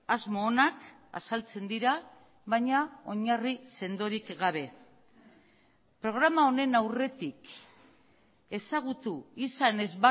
asmo onak azaltzen dira baina oinarri sendorik gabe programa honen aurretik ezagutu izan ez